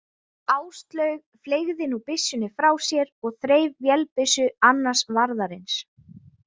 Áslaug fleygði nú byssunni frá sér og þreif vélbyssu annars varðarins.